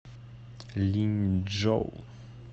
линьчжоу